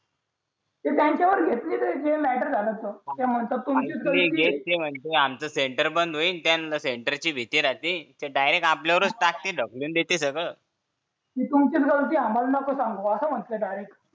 ती त्यांच्यावरच घेतली ती मॅटर झालं ते म्हणतात तुमची चुकी म्हणतील आमचं सेंटर बंद होईल त्या सेंटरची भीती राहते ते थेट आमच्यावरच टाकतील ढकलून देतील सगळं ती तुमची चुकी आम्हाला नको सांगू असं म्हणत्यात डायरेक्ट